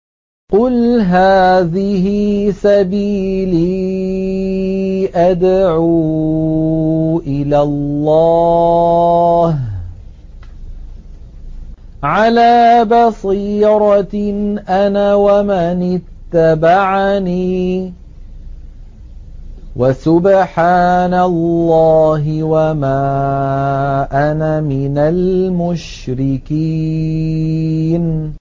قُلْ هَٰذِهِ سَبِيلِي أَدْعُو إِلَى اللَّهِ ۚ عَلَىٰ بَصِيرَةٍ أَنَا وَمَنِ اتَّبَعَنِي ۖ وَسُبْحَانَ اللَّهِ وَمَا أَنَا مِنَ الْمُشْرِكِينَ